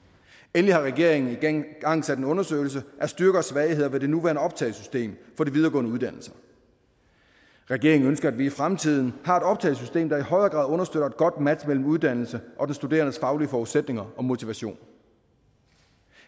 endelig har regeringen igangsat en undersøgelse af styrker og svagheder ved det nuværende optagesystem for de videregående uddannelser regeringen ønsker at vi i fremtiden har et optagesystem der i højere grad understøtter et godt match mellem uddannelse og den studerendes faglige forudsætninger og motivation